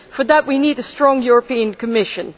For that we need a strong European Commission.